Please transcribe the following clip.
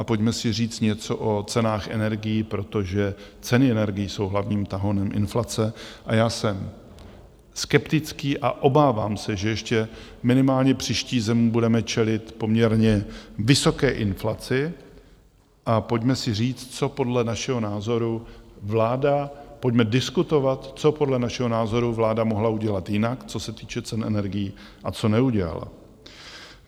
A pojďme si říct něco o cenách energií, protože ceny energií jsou hlavním tahounem inflace, a já jsem skeptický a obávám se, že ještě minimálně příští zimu budeme čelit poměrně vysoké inflaci, a pojďme si říct, co podle našeho názoru vláda, pojďme diskutovat, co podle našeho názoru vláda mohla udělat jinak, co se týče cen energií, a co neudělala.